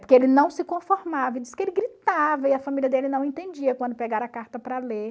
Porque ele não se conformava, diz que ele gritava e a família dele não entendia quando pegaram a carta para ler.